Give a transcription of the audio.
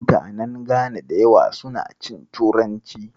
Mutanen Gana da yawa suna cin turanci.